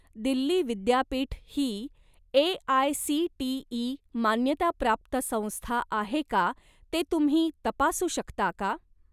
दिल्ली विद्यापीठ ही ए.आय.सी.टी.ई. मान्यताप्राप्त संस्था आहे का ते तुम्ही तपासू शकता का?